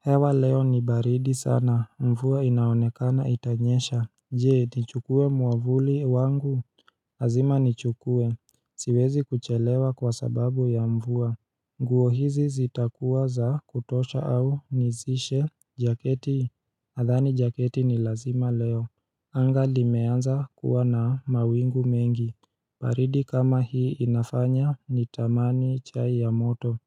Hewa leo ni baridi sana, mvua inaonekana itanyesha Je, nichukue mwavuli wangu Lazima nichukue Siwezi kuchelewa kwa sababu ya mvua nguo hizi zitakuwa za kutosha au nizishe jaketi nadhani jaketi ni lazima leo anga limeanza kuwa na mawingu mengi baridi kama hii inafanya nitamani chai ya moto